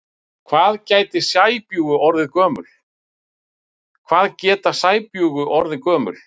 Hvað geta sæbjúgu orðið gömul?